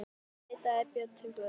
Þá leitaði Björn til Guðs.